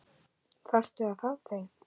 Þarftu að fá þau?